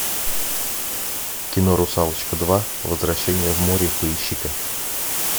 кино русалочка два возвращение в море поищи ка